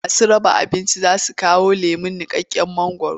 Masu raba abincin za su kawo lemon niƙaƙƙen mangwaro.